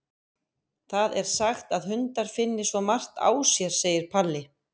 Það er sagt að hundar finni svo margt á sér, segir Palli.